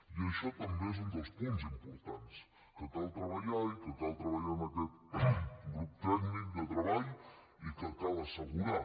i això també és un dels punts importants que cal treballar i que cal treballar en aquest grup tècnic de treball i que cal assegurar